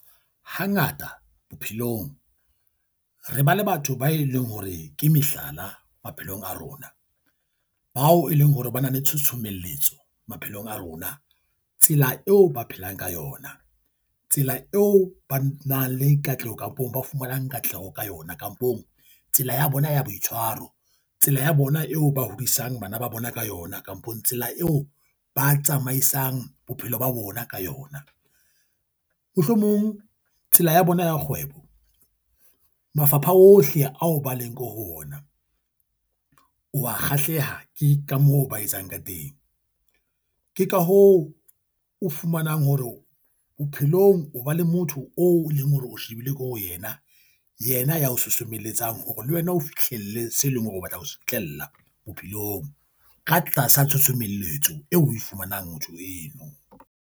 Hangata bophelong re ba le batho ba e leng hore ke mehlala maphelong a rona, bao e leng hore ba na le tshosomelletso maphelong a rona. Tsela eo ba phelang ka yona. Tsela eo ba nang le katleho kampong, ba fumanang katleho ka yona kapong tsela ya bona ya boitshwaro. Tsela ya bona eo ba hodisang bana ba bona ka yona kapong tsela eo ba tsamaisang bophelo ba bona ka yona. Mohlomong tsela ya bona ya kgwebo. Mafapha ohle ao ba leng ko ho ona. O a kgahleha ke ka moo ba etsang ka teng. Ke ka hoo o fumanang hore bophelong o ba le motho o leng hore o shebile ko ho yena. Yena ya o sosomelletsa hore le wena o fihlelle se leng hore o batla ho fihlella bophelong ka tlasa tshosomelletso eo o e fumanang motho eo.